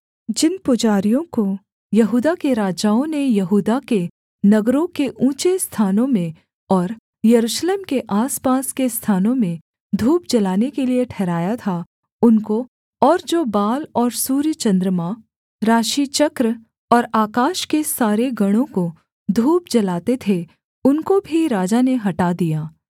जिन पुजारियों को यहूदा के राजाओं ने यहूदा के नगरों के ऊँचे स्थानों में और यरूशलेम के आसपास के स्थानों में धूप जलाने के लिये ठहराया था उनको और जो बाल और सूर्यचन्द्रमा राशिचक्र और आकाश के सारे गणों को धूप जलाते थे उनको भी राजा ने हटा दिया